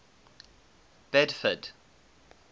bedford